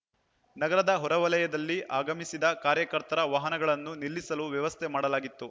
ನಗರದ ಹೊರವಲಯದಲ್ಲಿ ಆಗಮಿಸಿದ ಕಾರ್ಯಕರ್ತರ ವಾಹನಗಳನ್ನು ನಿಲ್ಲಿಸಲು ವ್ಯವಸ್ಥೆ ಮಾಡಲಾಗಿತ್ತು